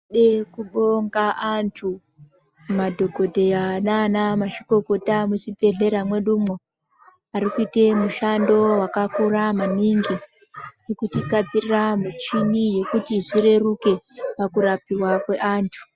Tinode kubonga antu madhokodheya nanamazvikokota muchibhedhlera mwedumwo, ari kuite mushando wakakura maningi wekutigadzirira muchini yekuti zvireruke pakurapiwa kweantu.